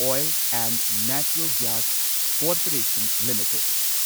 oil and natural gas corporation limited